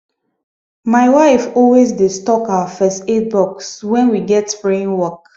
my wife always dey stock our first aid box when we get spraying work